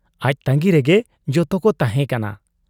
ᱟᱡ ᱛᱟᱺᱜᱤ ᱨᱮᱜᱮ ᱡᱚᱛᱚᱠᱚ ᱛᱟᱦᱮᱸ ᱠᱟᱱᱟ ᱾